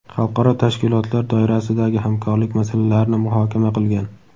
xalqaro tashkilotlar doirasidagi hamkorlik masalalarini muhokama qilgan.